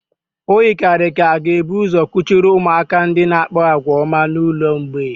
O yikarịrị ka a ga-ebu ụzọ kuchiri ụmụaka ndị na-akpa àgwà ọma n'ụlọ mgbei